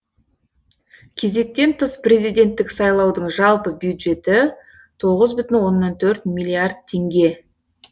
кезектен тыс президенттік сайлаудың жалпы бюджеті тоғыз бүтін оннан төрт миллиард теңге